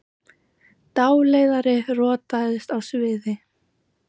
Dáleiðari rotaðist á sviði